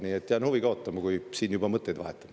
Nii et jään huviga ootama, kui me siin juba mõtteid vahetame.